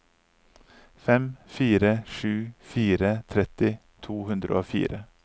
fem fire sju fire tretti to hundre og fire